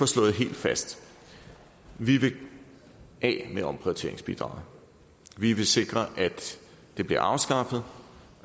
slået helt fast vi vil af med omprioriteringsbidraget vi vil sikre at det bliver afskaffet